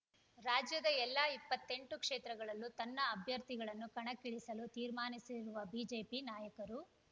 ರಾಜ್ಯದ ಎಲ್ಲಾ ಇಪ್ಪತ್ತೆಂಟು ಕ್ಷೇತ್ರಗಳಲ್ಲೂ ತನ್ನ ಅಭ್ಯರ್ಥಿಗಳನ್ನು ಕಣಕ್ಕಿಳಿಸಲು ತೀರ್ಮಾನಿಸಿರುವ ಬಿಜೆಪಿ ನಾಯಕರು